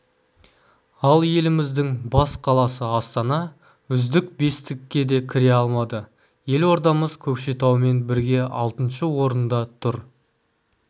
ал еліміздің бас қаласы астана үздік бестікке де кіре алмады елордамыз көкшетаумен бірге алтыншы орында тұр